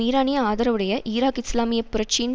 ஈரானிய ஆதரவுடைய ஈராக் இஸ்லாமிய புரட்சியின்